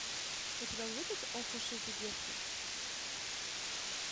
у тебя будет ох уж эти детки